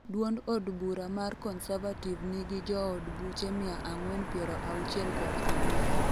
duond od bura mar Conservative nigi jood buche mia ang'wen piero auchiel kod ang'wen